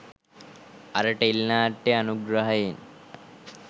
අර ටෙලිනාට්‍ය අනුග්‍රහයෙන්